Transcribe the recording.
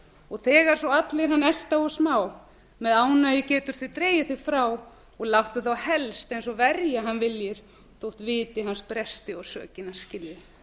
og þegar svo allir hann elta og smá með ánægju getur dregið þig frá og láttu þá helst eins og verja hann viljir þó vitir hans bresti og sökina skiljir